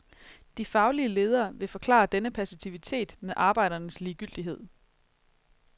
De faglige ledere vil forklare denne passivitet med arbejdernes ligegyldighed.